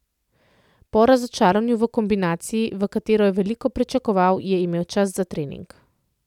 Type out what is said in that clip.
Po razočaranju v kombinaciji, v kateri je veliko pričakoval, je imel čas za trening.